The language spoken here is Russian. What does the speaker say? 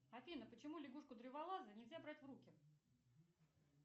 афина почему лягушку древолаза нельзя брать в руки